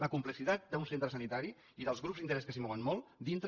la complexitat d’un centre sanitari i dels grups d’interès que s’hi mouen molt dintre